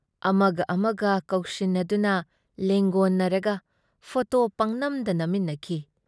ꯑꯃꯒ ꯑꯃꯒ ꯀꯧꯁꯤꯟꯅꯗꯨꯅ ꯂꯦꯡꯒꯣꯟꯅꯔꯒ ꯐꯣꯇꯣ ꯄꯪꯅꯝꯗ ꯅꯝꯃꯤꯟꯅꯈꯤ ꯫